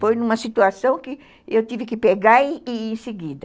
Foi numa situação que eu tive que pegar e ir em seguida.